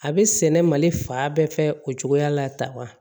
A bɛ sɛnɛ mali fa bɛɛ fɛ o cogoya la tan wa